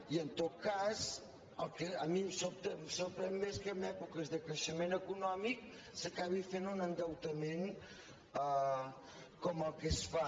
i en tot cas el que a mi em sobta em sobta més que en èpoques de creixement econòmic s’acabi fent un endeutament com el que es fa